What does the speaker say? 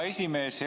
Hea esimees!